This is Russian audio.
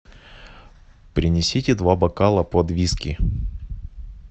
принесите два бокала под виски